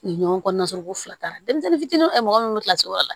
Ɲɔgɔn kɔnɔna sɔrɔ ko fila denmisɛnnin fitininw mɔgɔ minnu be kilasi wɔɔrɔ la